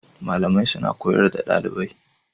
Malamai suna koyar da dalibai